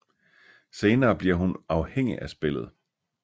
Senere bliver hun afhængig af spillet